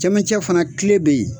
Cɛmɛncɛ fana kile be ye.